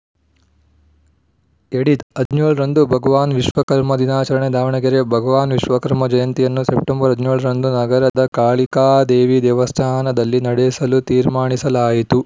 edit ಹದಿನೇಳು ರಂದು ಭಗವಾನ್‌ ವಿಶ್ವಕರ್ಮ ದಿನಾಚರಣೆ ದಾವಣಗೆರೆ ಭಗವಾನ್‌ ವಿಶ್ವಕರ್ಮ ಜಯಂತಿಯನ್ನು ಸೆ ಹದಿನೇಳು ರಂದು ನಗರದ ಕಾಳಿಕಾ ದೇವಿ ದೇವಸ್ಥಾನದಲ್ಲಿ ನಡೆಸಲು ತೀರ್ಮಾನಿಸಲಾಯಿತು